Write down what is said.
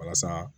Walasa